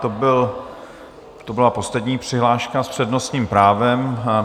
To byla poslední přihláška s přednostním právem.